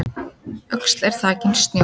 Öxl er þakin snjó